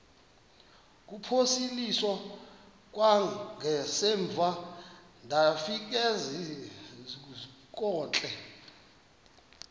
kuphosiliso kwangaemva ndafikezizikotile